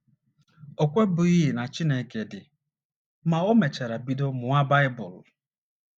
O kwebughị na Chineke dị, ma, o mechara bido mụwa Baịbụl.